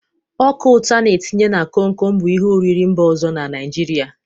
Ọka ụtọ a n-etinye na komkom bụ ihe oriri mba ọzọ na Naijiria.